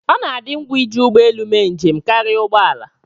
ọ na-adị ngwa iji ụgbọ elu mee njem karịa ụgbọ ala